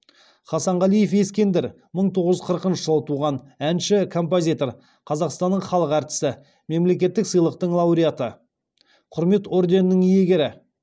хасанғалиев ескендір мың тоғыз жүз қырықыншы жылы туған әнші композитор қазақстанның халық әртісі мемлекеттік сыйлықтың лауреаты құрмет орденінің иегері